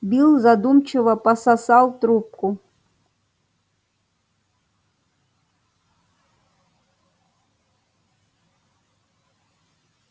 билл задумчиво пососал трубку